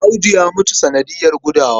Audu ya mutu sanadiyar gudawa.